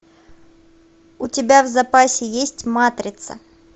у тебя в запасе есть матрица